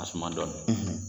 A suman dɔɔni,